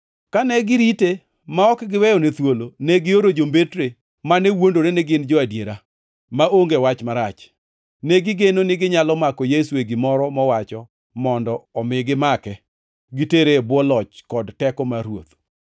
Kane girite ma ok giweyone thuolo, negioro jombetre, mane wuondore ni gin jo-adiera maonge wach marach. Negigeno niginyalo mako Yesu e gimoro mowacho mondo omi gimake gitere e bwo loch kod teko mar ruoth.